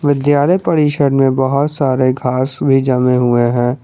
विद्यालय परिषद में बहोत सारे घास भी जमे हुए हैं।